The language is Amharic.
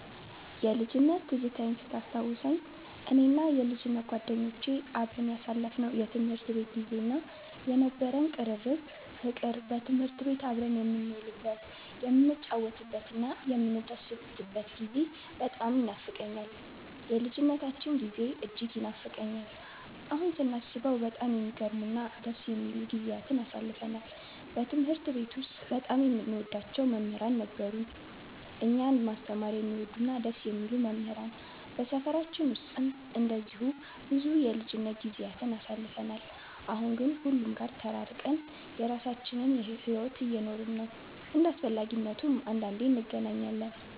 የልጅነት ትዝታዬን ስታስታውሰኝ፣ እኔና የልጅነት ጓደኞቼ አብረን ያሳለፍነው የትምህርት ቤት ጊዜ እና የነበረን ቅርርብ ፍቅር፣ በትምህርት ቤት አብረን የምንውልበት፣ የምንጫወትበትና የምንደሰትበት ጊዜ በጣም ይኖፋቀኛል። የልጅነታችን ጊዜ እጅግ ይናፍቀኛል። አሁን ስናስበው በጣም የሚገርሙ እና ደስ የሚሉ ጊዜያትን አሳልፈናል። በትምህርት ቤት ውስጥ በጣም የምንወዳቸው መምህራን ነበሩን፤ እኛን ማስተማር የሚወዱ እና ደስ የሚሉ መምህራን። በሰፈራችን ውስጥም እንደዚሁ ብዙ የልጅነት ጊዜያትን አሳልፈን፣ አሁን ግን ሁሉም ጋር ተራርቀን የራሳችንን ሕይወት እየኖርን ነው። እንደ አስፈላጊነቱም አንዳንዴ እንገናኛለን።